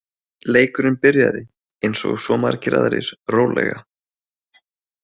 Leikurinn byrjaði, eins og svo margir aðrir, rólega.